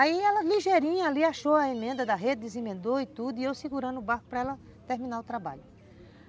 Aí ela ligeirinha ali achou a emenda da rede, desemendou e tudo, e eu segurando o barco para ela terminar o trabalho.